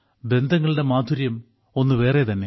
ബന്ധങ്ങളുടെ മാധുര്യം ഒന്ന് വേറെ തന്നെ